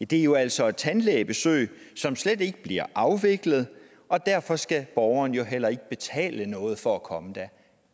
det er jo altså et tandlægebesøg som slet ikke bliver afviklet og derfor skal borgeren jo heller ikke betale noget for at komme der